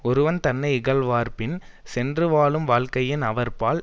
ஒருவன் தன்னை இகழ்வார்பின் சென்று வாழும் வாழ்க்கையின் அவர்பால்